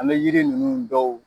An be yiri nunnu dɔw